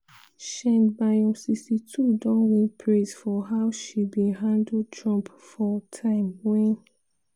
sheinbaum 62 don win praise for how she bin handle trump for time wen